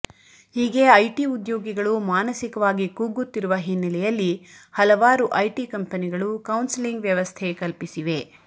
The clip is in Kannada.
ಹೀಗೆ ಐಟಿ ಉದ್ಯೋಗಿಗಳು ಮಾನಸಿಕವಾಗಿ ಕುಗ್ಗುತ್ತಿರುವ ಹಿನ್ನೆಲೆಯಲ್ಲಿ ಹಲವಾರು ಐಟಿ ಕಂಪನಿಗಳು ಕೌನ್ಸಲಿಂಗ್ ವ್ಯವಸ್ಥೆ ಕಲ್ಪಿಸಿವೆ